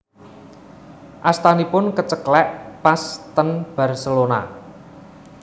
Astanipun keceklek pas ten Barcelona